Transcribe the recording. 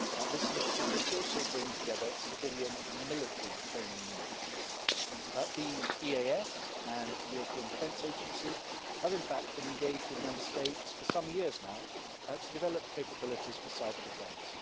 This initiative will also bring together civilian and military training needs. The EAS and the European Defence Agency have in fact been engaged with Member States for some years now to develop capabilities for cyber-defence.